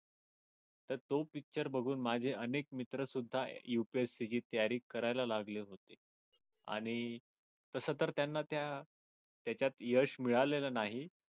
तर तो picture बघून माझे अनेक मित्र सुद्धा UPSC ची तयारी करायला लागले आणि तसं तर त्यांना त्या त्याच्यात यश मिळालेल नाही.